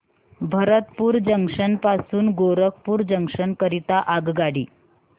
Bharatpur junction पासून Gorakhpur junction करीता आगगाडी